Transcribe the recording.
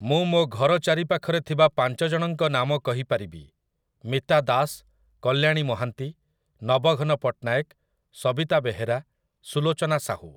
ମୁଁ ମୋ ଘର ଚାରିପାଖରେ ଥିବା ପାଞ୍ଚଜଣଙ୍କ ନାମ କହିପାରିବି, ମିତା ଦାସ, କଲ୍ୟାଣୀ ମହାନ୍ତି, ନବଘନ ପଟ୍ଟନାୟକ, ସବିତା ବେହେରା, ସୁଲୋଚନା ସାହୁ ।